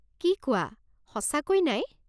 কি কোৱা, সঁচাকৈ নাই?